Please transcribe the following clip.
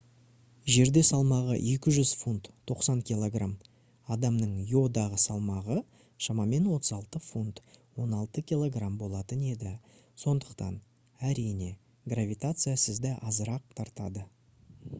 жерде салмағы 200 фунт 90 кг адамның йодағы салмағы шамамен 36 фунт 16 кг болатын еді. сондықтан әрине гравитация сізді азырақ тартады